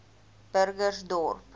burgersdorp